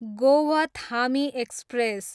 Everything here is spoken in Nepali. गोवथामी एक्सप्रेस